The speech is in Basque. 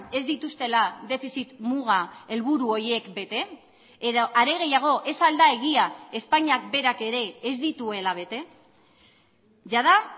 ez dituztela defizit muga helburu horiek bete edo are gehiago ez al da egia espainiak berak ere ez dituela bete jada